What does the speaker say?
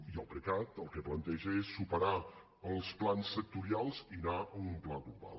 i el precat el que planteja és superar els plans sectorials i anar a un pla global